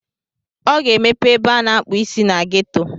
Ọ ga-emepe ebe a na-akpụ isi na ghetto.